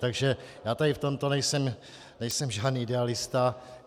Takže já tady v tomto nejsem žádný idealista.